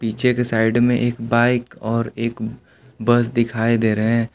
पीछे के साइड में एक बाइक और एक बस दिखाई दे रहे--